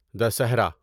Dussehra